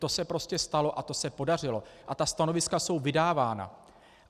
To se prostě stalo a to se podařilo a ta stanoviska jsou vydávána.